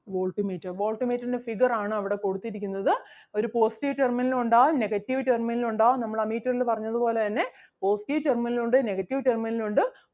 volt meter volt meter ൻ്റെ figure ആണ് അവിടെ കൊടുത്തിരിക്കുന്നത്. ഒരു positive terminal ഉം ഉണ്ടാകും negative terminal ഉം ഉണ്ടാകും നമ്മൾ ammeter ല് പറഞ്ഞത് പോലെ തന്നെ positive terminal ഉം ഉണ്ട് negative terminal ഉം ഉണ്ട്